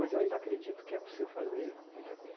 Mas eu ainda acredito que é possível fazer muita